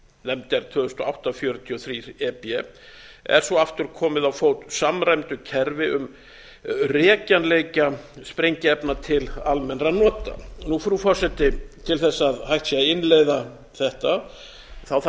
nefnd er tvö þúsund og átta fjörutíu og þrjú e b er svo aftur komið á fót samræmdu kerfi um rekjanleika sprengiefna til almennra nota frú forseti til þess að hægt sé að innleiða þetta þarf